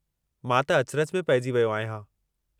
मां त अचिरजु में पेइजी वियो आहियां।